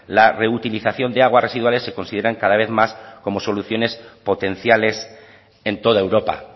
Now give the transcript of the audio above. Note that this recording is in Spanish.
la reutilización de aguas residuales se consideran cada vez más como soluciones potenciales en toda europa